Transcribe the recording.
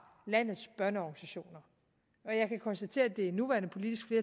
landets børneorganisationer jeg kan konstatere at det nuværende politiske